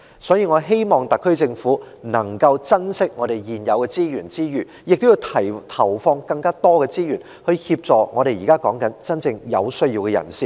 所以，我希望特區政府在珍惜現有的資源之餘，亦要投放更多資源協助真正有需要的人士。